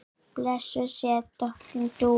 Blessuð sé minning Dúu.